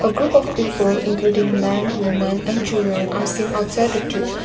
group of people including man women and children are seen outside the